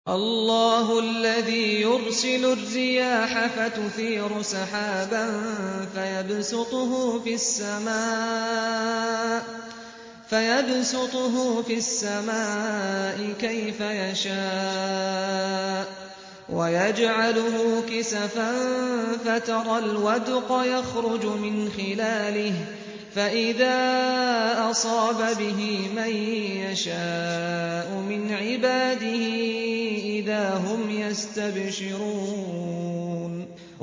اللَّهُ الَّذِي يُرْسِلُ الرِّيَاحَ فَتُثِيرُ سَحَابًا فَيَبْسُطُهُ فِي السَّمَاءِ كَيْفَ يَشَاءُ وَيَجْعَلُهُ كِسَفًا فَتَرَى الْوَدْقَ يَخْرُجُ مِنْ خِلَالِهِ ۖ فَإِذَا أَصَابَ بِهِ مَن يَشَاءُ مِنْ عِبَادِهِ إِذَا هُمْ يَسْتَبْشِرُونَ